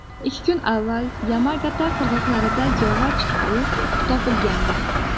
Ikki kun avval Yamagata qirg‘oqlarida yog‘och qayiq topilgandi.